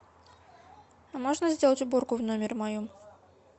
а можно сделать уборку в номере моем